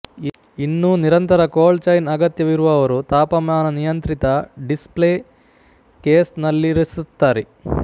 ಇನ್ನೂ ನಿರಂತರ cold chain ಅಗತ್ಯವಿರುವವರು ತಾಪಮಾನನಿಯಂತ್ರಿತ ಡಿಸ್ ಪ್ಲೇ ಕೇಸ್ ನಲ್ಲಿರಿಸುತ್ತಾರೆ